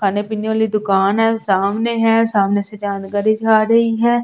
खाने पीने वाली दुकान है सामने है सामने से जानकारी जा रही है।